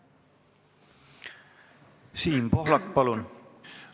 Siim Pohlak, palun!